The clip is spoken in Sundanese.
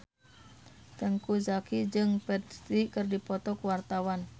Teuku Zacky jeung Ferdge keur dipoto ku wartawan